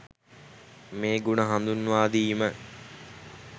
මේ ගුණ හඳුන්වාදීම